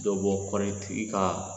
Dɔ bɔ kɔɔrɔtigi ka